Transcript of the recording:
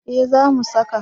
Eh za mu saka